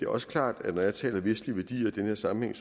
også klart at når jeg taler vestlige værdier i den her sammenhæng